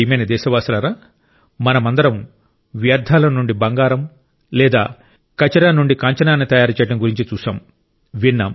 నా ప్రియమైన దేశవాసులారా మనమందరం వ్యర్థాల నుండి బంగారం లేదా కచరా నుండి కాంచనాన్ని తయారు చేయడం గురించి చూశాం